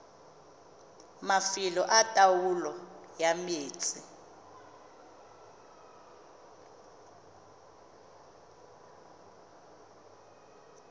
mafelo a taolo ya metsi